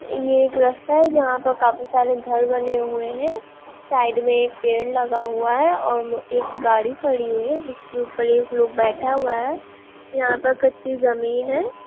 ये एक रास्ता है जहां पे काफी सारे घर बने हुआ है साइड में एक पेड़ लगा हुआ है और एक गाड़ी खड़ी हुई है जिसके ऊपर एक लोग बैठा हुआ है। यहां का कच्ची जमीन है।